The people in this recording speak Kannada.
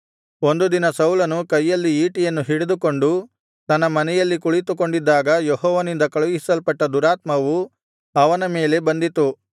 ಒಂದು ದಿನ ಸೌಲನು ಕೈಯಲ್ಲಿ ಈಟಿಯನ್ನು ಹಿಡಿದುಕೊಂಡು ತನ್ನ ಮನೆಯಲ್ಲಿ ಕುಳಿತುಕೊಂಡಿದ್ದಾಗ ಯೆಹೋವನಿಂದ ಕಳುಹಿಸಲ್ಪಟ್ಟ ದುರಾತ್ಮವು ಅವನ ಮೇಲೆ ಬಂದಿತು